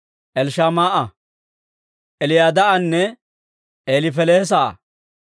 Elishamaa'a, Eliyadaa'anne Elifelees'a.